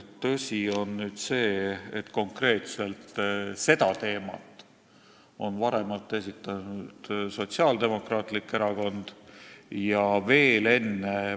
Tõsi on see, et konkreetselt seda teemat on varem siin esile toonud Sotsiaaldemokraatlik Erakond ja veel enne ...